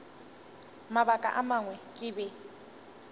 mabaka a mangwe ke be